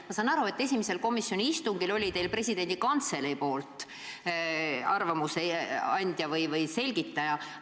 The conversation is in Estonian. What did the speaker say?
Ma saan aru, et esimesel komisjoni istungil oli teil kohal Vabariigi Presidendi Kantselei arvamuse andja või selgitaja.